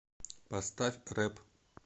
поставь рэп